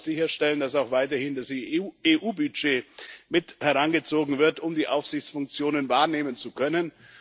Wir wollen aber sicherstellen, dass auch weiterhin das EU Budget mit herangezogen wird, um die Aufsichtsfunktionen wahrnehmen zu können.